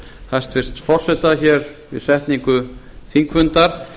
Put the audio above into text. hæstvirts forseta hér við setningu þingfundar